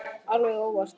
Alveg óvart.